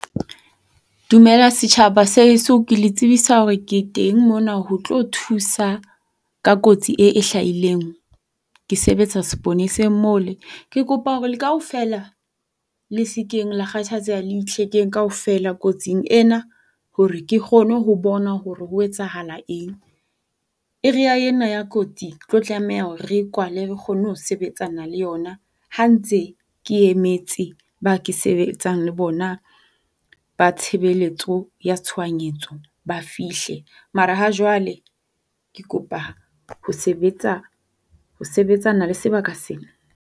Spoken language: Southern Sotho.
Dumela setjhaba sa heso. Ke le tsebisa hore ke teng mona ho tlo thusa ka kotsi e e hlahileng. Ke sebetsa seponeseng mole. Ke kopa hore le kaofela le se keng la kgathatseha. Le itlhekeng kaofela kotsing ena hore ke kgone ho bona hore ho etsahalang eng. Area yena ya kotsi re tlo tlameha hore re e kwale re kgone ho sebetsana le yona ha ntse ke emetse ba ke sebetsang le bona ba tshebeletso ya tshohanyetso ba fihle. Mara ha jwale ke kopa ho sebetsa ho sebetsana le sebaka sena.